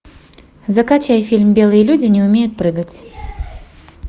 закачай фильм белые люди не умеют прыгать